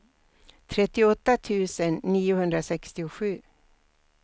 trettioåtta tusen niohundrasextiosju